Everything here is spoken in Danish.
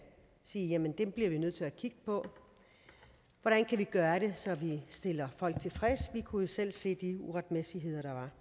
sige at jamen det bliver vi nødt til at kigge på hvordan kan vi gøre det så vi stiller folk tilfredse vi kunne jo selv se de uretmæssigheder der